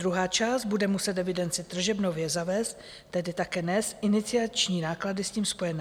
Druhá část bude muset evidenci tržeb nově zavést, tedy také nést iniciační náklady s tím spojené.